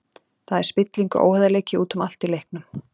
Það er spilling og óheiðarleiki út um allt í leiknum.